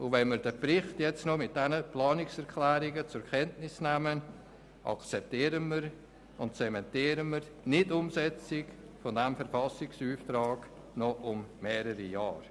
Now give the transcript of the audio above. Wenn wir diesen Bericht nun mit den Planungserklärungen zur Kenntnis nehmen, dann akzeptieren und zementieren wir die Nicht-Umsetzung dieses Verfassungsauftrags noch für mehrere Jahre.